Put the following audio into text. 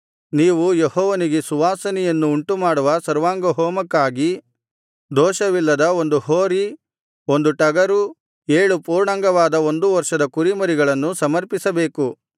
ನೀವು ಯೆಹೋವನಿಗೆ ಸುವಾಸನೆಯನ್ನು ಉಂಟುಮಾಡುವ ಸರ್ವಾಂಗಹೋಮಕ್ಕಾಗಿ ದೋಷವಿಲ್ಲದ ಒಂದು ಹೋರಿ ಒಂದು ಟಗರು ಏಳು ಪೂರ್ಣಾಂಗವಾದ ಒಂದು ವರ್ಷದ ಕುರಿಮರಿಗಳನ್ನು ಸಮರ್ಪಿಸಬೇಕು